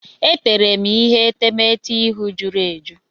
E teere m ihe etemeete ihu jụrụ eju.